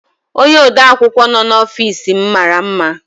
Onye odeakwụkwọ nọ n'ofiis m mara mma.